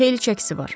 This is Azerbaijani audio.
Xeyli çəkisi var.